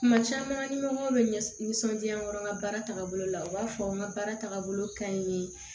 Kuma caman ni ɲɔgɔn bɛ ɲɛ nisɔndiya nɔrɔ n ka baara tagabolo la u b'a fɔ n ka baara tagabolo ka ɲi